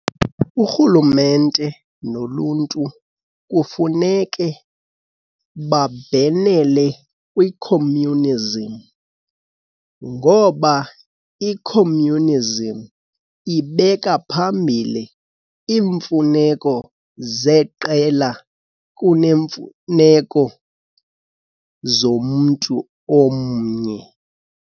Urhulumente noluntu kufuneke babhenele kwi-communism ngoba i-communism ibeka phambile iimfuneko zeqela kunemfuneko zomntu omnye.